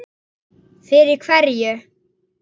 Það sem ber að varast